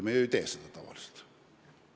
Me ei tee ju tavaliselt nii.